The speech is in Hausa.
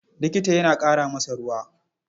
Likita ya ƙara masa ruwa.